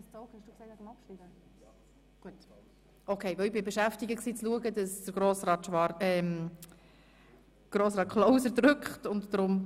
Dies hat sich aber offenbar erledigt, weil von Grossrat Zaugg Abschreibung verlangt worden ist.